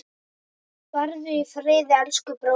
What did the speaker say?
Farðu í friði, elsku bróðir.